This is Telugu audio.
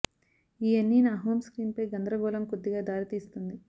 ఈ అన్ని నా హోమ్ స్క్రీన్ పై గందరగోళం కొద్దిగా దారితీస్తుంది